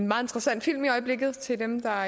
meget interessant film i øjeblikket til dem der